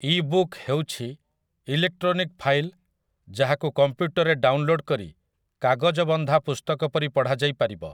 ଇ book ହେଉଛି electronic file ଯାହାକୁ କମ୍ପ୍ୟୁଟରରେ ଡାଉନଲୋଡ୍ କରି, କାଗଜବନ୍ଧା ପୁସ୍ତକ ପରି ପଢ଼ାଯାଇ ପାରିବ ।